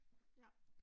Nå